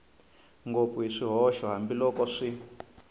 ngopfu hi swihoxo hambiloko xi